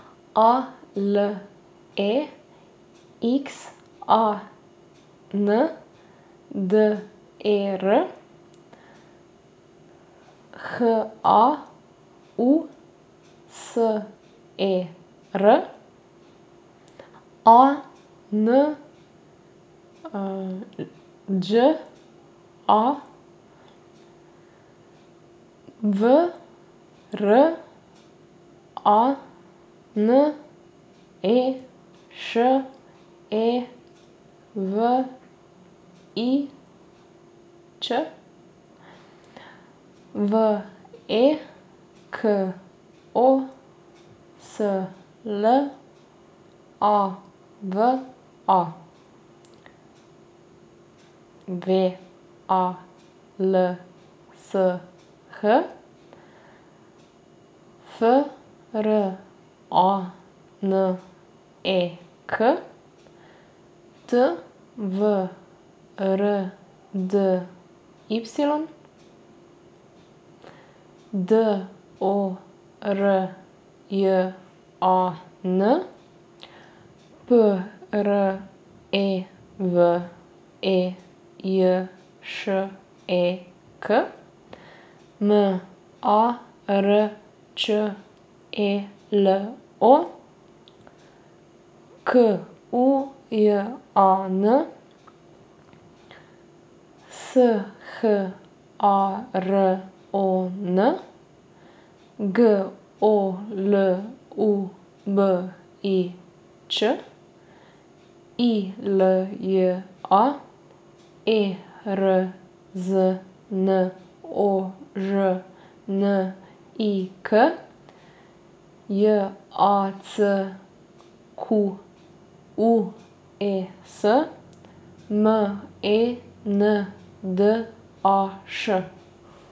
A L E X A N D E R, H A U S E R; A N Đ A, V R A N E Š E V I Ć; V E K O S L A V A, W A L S H; F R A N E K, T V R D Y; D O R J A N, P R E V E J Š E K; M A R Č E L O, K U J A N; S H A R O N, G O L U B I Ć; I L J A, E R Z N O Ž N I K; J A C Q U E S, M E N D A Š.